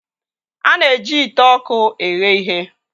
A na-eji ite ọkụ eghe ihe.